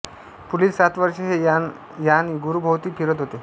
पुढील सात वर्षे हे यान गुरूभोवती फिरत होते